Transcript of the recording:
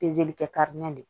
Pezeli kɛ de